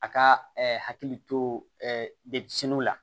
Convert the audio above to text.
A ka hakili to de siniw la